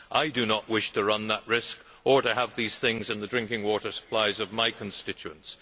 I do not wish to run that risk or to have these things in the drinking water supplies of my constituents.